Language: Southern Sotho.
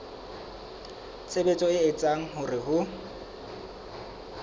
tshebetso e etsang hore ho